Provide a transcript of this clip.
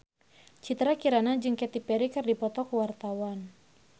Citra Kirana jeung Katy Perry keur dipoto ku wartawan